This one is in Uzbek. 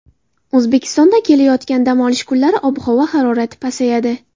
O‘zbekistonda kelayotgan dam olish kunlari havo harorati pasayadi.